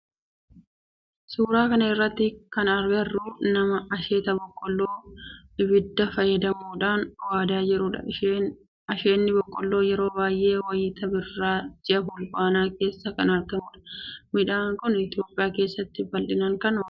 Suuraa kana irratti kan agarru nama asheeta boqqoolloo ibidda fayyadamuudhan waadaa jirudha. Asheenni boqqoolloo yeroo baayyee wayitii birraa ji'a fulbaanaa keessa kan argamudha. Midhaan kun Itiyoophiyaa keessatti bal'inaan kan oomishamudha.